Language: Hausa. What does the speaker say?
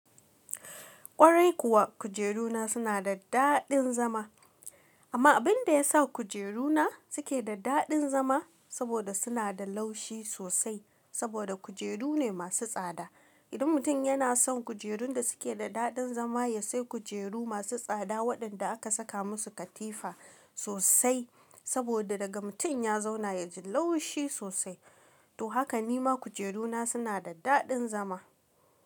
Kwarai kuwa kujeru na suna da daɗin zama amma abin da ya sa kujeru na suke da daɗin zama saboda suna da laushi sosai saboda kujeru ne masu tsada. Idan mutum yana son kujerun da suke da daɗin zama ya sai kujeru masu tsada waɗanda aka saka musu katifa sosai saboda daga mutum ya zauna ya ji laushi sosai. To haka nima kujeru na suna da daɗin zama.